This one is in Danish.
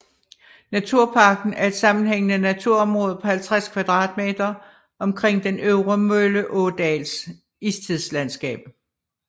Naturparken er et sammenhængende naturområde på 50 km2 omkring den Øvre Mølleådals istidslandskab